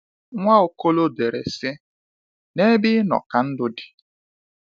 Nwaokolo dere sị: nebe inọ ka ndụ di